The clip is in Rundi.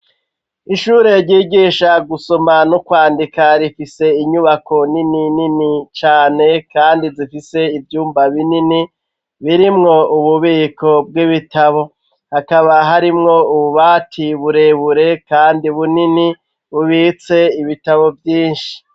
Ishure ryigisha gusoma n'ukwandika rifise inyubako nini nini cane kandi zifise ivyumba binini birimwo ububiko bw'ibitabo hakaba harimwo ububati burebure kandi bunini bubitse ibitabo vyinshi.